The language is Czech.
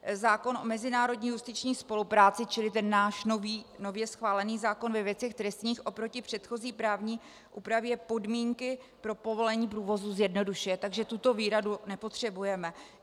Zákon o mezinárodní justiční spolupráci, čili ten náš nově schválený zákon ve věcech trestních, oproti předchozí právní úpravě podmínky pro povolení průvozu zjednodušuje, takže tuto výhradu nepotřebujeme.